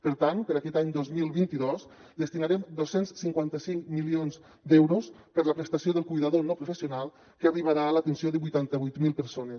per tant per a aquest any dos mil vint dos destinarem dos cents i cinquanta cinc milions d’euros per a la prestació del cuidador no professional que arribarà a l’atenció de vuitanta vuit mil persones